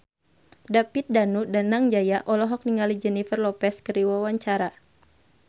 David Danu Danangjaya olohok ningali Jennifer Lopez keur diwawancara